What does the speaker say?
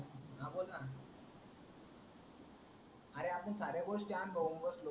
अरे आपण साऱ्या गोष्टी आणतो बसलो